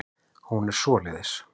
Hún er svoleiðis.